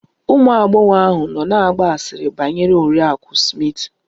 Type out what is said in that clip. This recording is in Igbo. Ụmụ agbọghọ ahụ nọ na-agba asịrị banyere Oriakụ Smith